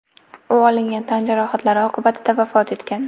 U olingan tan jarohatlari oqibatida vafot etgan.